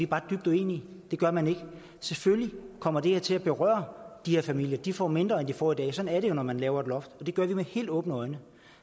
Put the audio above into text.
bare dybt uenige det gør man ikke selvfølgelig kommer det her til at berøre de her familier de får mindre end de får i dag sådan er det jo når man laver et loft og det gør vi med helt åbne øjne